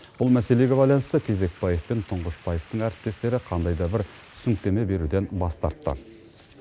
бұл мәселеге байланысты тезекбаев пен тұңғышбаевтың әріптестері қандай да бір түсініктеме беруден бас тартты